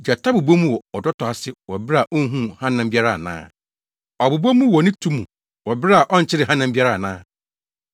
Gyata bobɔ mu wɔ ɔdɔtɔ ase wɔ bere a onhuu hanam biara ana? Ɔbobɔ mu wɔ ne tu mu wɔ bere a ɔnkyeree hanam biara ana?